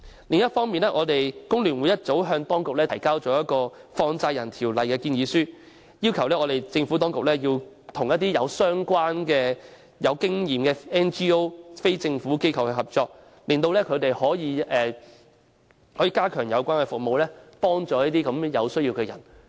另一方面，工聯會早已向政府當局提交有關《放債人條例》的建議書，要求當局與具相關經驗的 NGO 合作，令他們可以加強有關服務，幫助有需要的人。